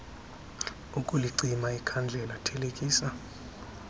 ukulicima ikhandlela thelekisa